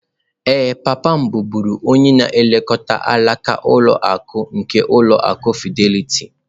Ee, papa m bụbu onye na-elekọta alaka ụlọ akụ nke ụlọ akụ Fidelity.